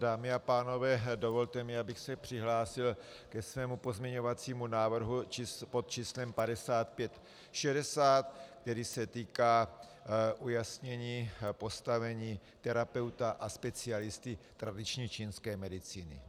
Dámy a pánové, dovolte mi, abych se přihlásil ke svému pozměňovacímu návrhu pod číslem 5560, který se týká ujasnění postavení terapeuta a specialisty tradiční čínské medicíny.